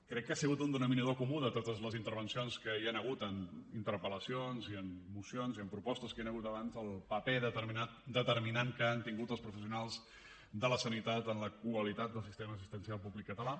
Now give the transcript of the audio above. crec que ha sigut un denominador comú de totes les intervencions que hi han hagut en interpel·lacions i en mocions i en propostes que hi han hagut abans del paper determinant que han tingut els professionals de la sanitat en la qualitat del sistema assistencial públic català